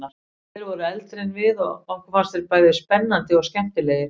Þeir voru eldri en við og okkur fannst þeir bæði spennandi og skemmtilegir.